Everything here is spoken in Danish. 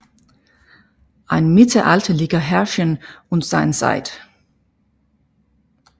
Ein mittelalterlicher Herrscher und seine Zeit